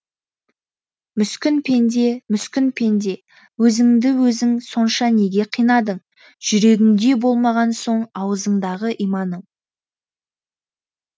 мүскін пенде мүскін пенде өзіңді өзің сонша неге қинадың жүрегіңде болмаған соң аузыңдағы иманың